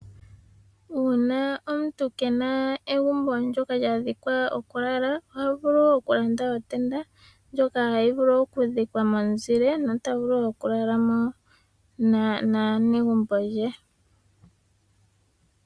Una omuntu ke ena egumbo ndono lya dhikwa oku lala oha vulu oku landa otenda ndjoka hayi vulu oku dhikwa momuzile nota vulu oku lala mo naanegumbo lye.